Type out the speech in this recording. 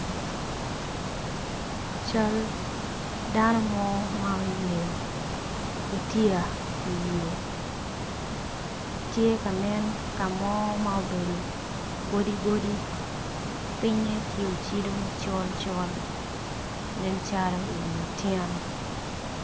Cal dano mo ma oyeo gutya i wiye tye kanen kamo ma obedo godi godi pinge tye kacido col col nen calo i wi otyeno.